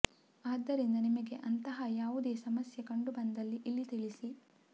ಆದ್ದರಿಂದ ನಿಮಗೆ ಅಂತಹಾ ಯಾವುದೆ ಸಮಸ್ಯೆ ಕಂಡು ಬಂದಿದ್ದಲ್ಲಿ ಇಲ್ಲಿ ತಿಳಿಸಿ